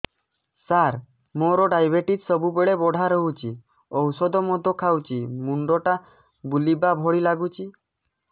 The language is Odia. ସାର ମୋର ଡାଏବେଟିସ ସବୁବେଳ ବଢ଼ା ରହୁଛି ଔଷଧ ମଧ୍ୟ ଖାଉଛି ମୁଣ୍ଡ ଟା ବୁଲାଇବା ଭଳି ଲାଗୁଛି